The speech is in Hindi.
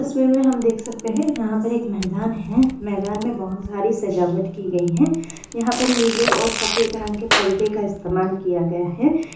तस्वीर में हम देख सकते हैं यहाँ पर एक मैदान है। मैदान में बहुत सारी सजावट की गई है। यहाँ पर नील और सफ़ेद रंग के परदे का इस्तेमाल किया गया है।